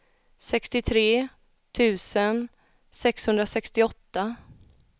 sextiotre tusen sexhundrasextioåtta